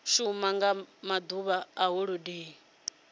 shuma nga maḓuvha a holodeni